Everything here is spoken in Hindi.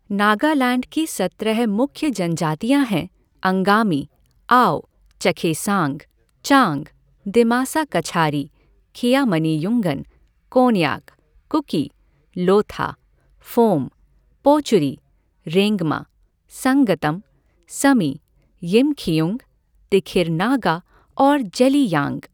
नागालैंड की सत्रह मुख्य जनजातियाँ हैं, अंगामी, आओ, चखेसांग, चांग, दिमासा कछारी, खियामनियुंगन, कोन्याक, कुकी, लोथा, फोम, पोचुरी, रेंगमा, संगतम, समी, यिमखिउंग, तिखिर नागा और जेलियाँग।